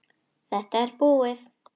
Þetta er búið.